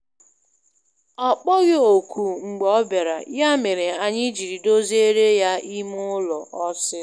Ọ kpọghị òkù mgbe ọ bịara, ya mere anyị jiri doziere ya ime ụlọ ọsịsọ.